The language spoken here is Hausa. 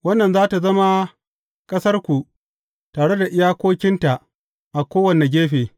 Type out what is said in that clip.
Wannan za tă zama ƙasarku, tare da iyakokinta a kowane gefe.’